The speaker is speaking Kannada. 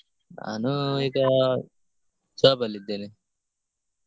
ನಾನು job ಅಲ್ಲಿ ಇದ್ದೇನೆ.